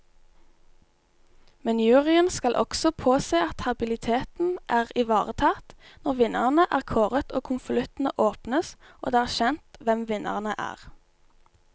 Men juryen skal også påse at habiliteten er ivaretatt, når vinnerne er kåret og konvoluttene åpnes og det er kjent hvem vinnerne er.